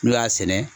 N'u y'a sɛnɛ